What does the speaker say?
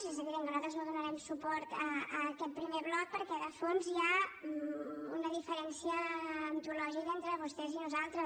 és evident que nosaltres no donarem suport a aquest primer bloc perquè de fons hi ha una diferència antològica entre vostès i nosaltres